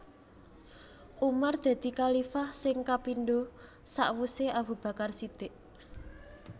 Umar dadi khalifah sing kapindo sakwuse Abu Bakar Shidiq